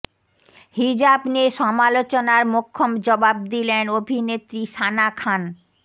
হিজাব নিয়ে সমালোচনার মোক্ষম জবাব দিলেন অভিনেত্রী সানা খান